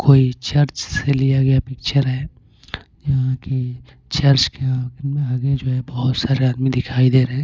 कोई चर्च से लिया गया पिक्चर है यहां के चर्च के आगे जो है बहुत सारे आदमी दिखाई दे रहे हैं।